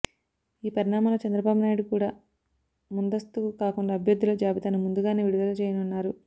ఈ పరిణామాల్లో చంద్రబాబునాయుడు కూడ ముందస్తుకు కాకుండా అభ్యర్థుల జాబితాను ముందుగానే విడుదల చేయనున్నారు